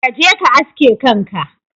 Kaje ka aske kanka.